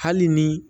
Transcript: Hali ni